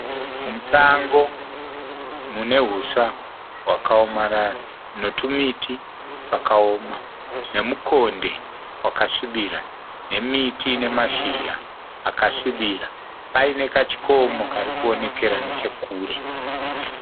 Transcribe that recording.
Musango. Mune huswa hwakaomarara netumiti twakaoma nemukonde wakasvibira nemiti ine mashizha akasvibira. Paine kachikomo kari kuonekera nechekure.